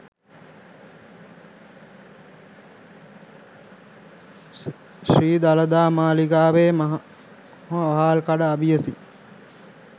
ශ්‍රී දළදා මාලිගාවේ මහ වහල්කඩ අබියසින්